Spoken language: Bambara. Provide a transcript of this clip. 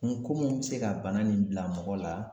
N ko mun be se ka bana nin bila mɔgɔ la